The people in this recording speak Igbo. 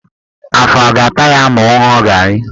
Afọ a ga-ata ya ma ọ ṅụọ garị?